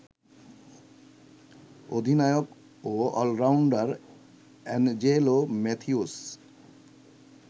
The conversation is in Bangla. অধিনায়ক ও অলরাউন্ডার অ্যাঞ্জেলো ম্যাথিউস